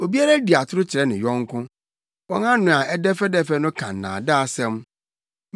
Obiara di atoro kyerɛ ne yɔnko; wɔn ano a ɛdɛfɛdɛfɛ no ka nnaadaasɛm.